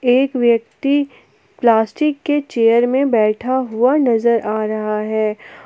एक व्यक्ति प्लास्टिक के चेयर में बैठा हुआ नजर आ रहा है।